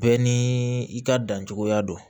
Bɛɛ ni i ka dancogoya don